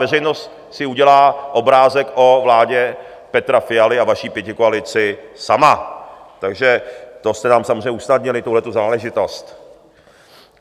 Veřejnost si udělá obrázek o vládě Petra Fialy a vaší pětikoalici sama, takže to jste nám samozřejmě usnadnili, tuhletu záležitost.